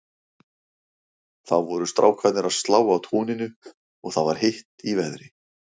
Þá voru strákarnir að slá á túninu og það var heitt í veðri.